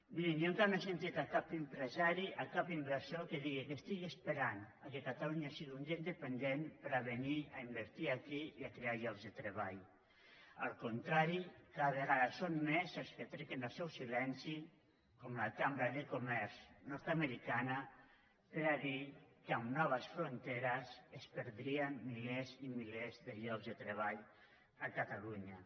mirin jo encara no he sentit a cap empresari a cap inversor que digui que estigui esperant que catalunya sigui un dia independent per a venir a invertir aquí i a crear llocs de treball al contrari cada vegada són més els que trenquen el seu silenci com la cambra de comerç nord americana per dir que amb noves fronteres es perdrien milers i milers de llocs de treball a catalunya